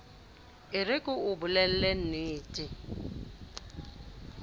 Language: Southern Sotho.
e re ke o bolellennete